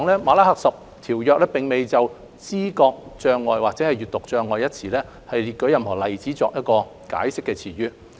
《馬拉喀什條約》並無就知覺障礙或閱讀障礙一詞列舉任何例子，以解釋詞意。